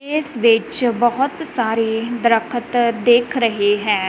ਇੱਸ ਵਿੱਚ ਬਹੁਤ ਸਾਰੇ ਦ੍ਰਖਤ ਦਿੱਖ ਰਹੇ ਹੈਂ।